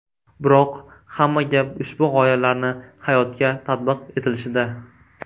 Biroq hamma gap ushbu g‘oyalarni hayotga tatbiq etilishida.